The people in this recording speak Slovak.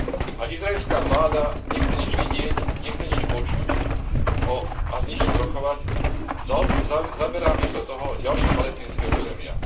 A izraelská vláda nechce nič vidieť, nechce nič počuť a s nikým rokovať, zaberá miesto toho ďalšie palestínske územia.